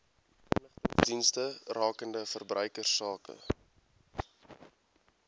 inligtingsdienste rakende verbruikersake